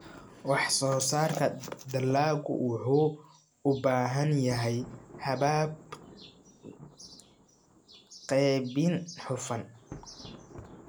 Wax-soo-saarka dalagga wuxuu u baahan yahay habab qaybin hufan.